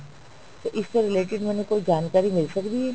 ਤੇ ਇਸਤੋਂ related ਮੈਨੂੰ ਕੋਈ ਜਾਣਕਾਰੀ ਮਿਲ ਸਕਦੀ ਏ